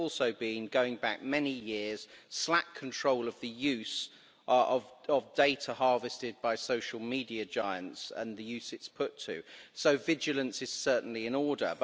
There has also been, going back many years, slack control of the use of data harvested by social media giants and the use it's put to, so vigilance is certainly in order.